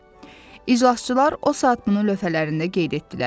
İclasçılar o saat bunu lövhələrində qeyd etdilər.